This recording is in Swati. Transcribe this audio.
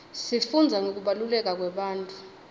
sifundza ngekubaluleka kwebantfu